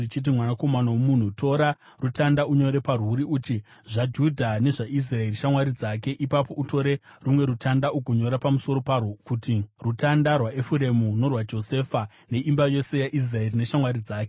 “Mwanakomana womunhu, tora rutanda unyore parwuri kuti, ‘ZvaJudha nezvaIsraeri shamwari dzake.’ Ipapo utore rumwe rutanda, ugonyora pamusoro parwo kuti, ‘Rutanda rwaEfuremu, norwaJosefa neimba yose yaIsraeri neshamwari dzake.’